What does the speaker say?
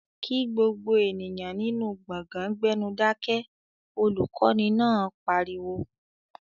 "Kí gbogbo ènìyàn nínú gbọ̀gán gbẹ́nú Dákẹ́!", olùkọ́ni náà pariwo